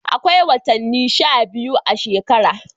Akwai wotani sha biyu a shekara.